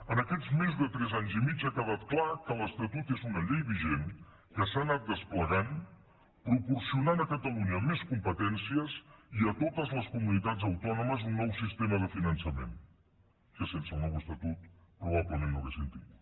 en aquests més de tres anys i mig ha quedat clar que l’estatut és una llei vigent que s’ha anat desplegant proporcionant a catalunya més competències i a totes les comunitats autònomes un nou sistema de finançament que sense el nou estatut probablement no hauríem tingut